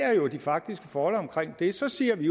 er jo de faktiske forhold omkring det så siger vi